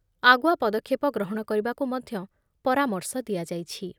ଆଗୁଆ ପଦକ୍ଷେପ ଗ୍ରହଣ କରିବାକୁ ମଧ୍ୟ ପରାମର୍ଶ ଦିଆଯାଇଛି ।